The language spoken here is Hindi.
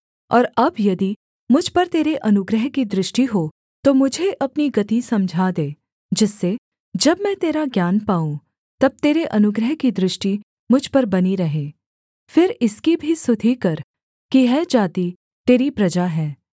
और अब यदि मुझ पर तेरे अनुग्रह की दृष्टि हो तो मुझे अपनी गति समझा दे जिससे जब मैं तेरा ज्ञान पाऊँ तब तेरे अनुग्रह की दृष्टि मुझ पर बनी रहे फिर इसकी भी सुधि कर कि यह जाति तेरी प्रजा है